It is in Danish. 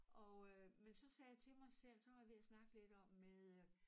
Og øh men så sagde jeg til mig selv så var jeg ved at snakke lidt om med